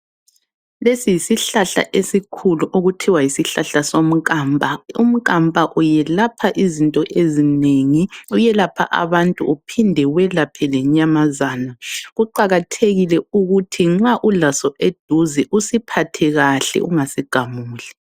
Lesi yisihlahla esikhulu okuthiwa yisihlahla somkamba. Umkamba uyelapha izinto ezinengi, uyelapha abantu uphinde uyelaphe lenyamazana. Kuqakathekile ukuthi nxa ulaso eduze usiphathe kahle ungasigamuli.